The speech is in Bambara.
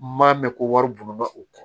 M'a mɛn ko wari buna u kɔ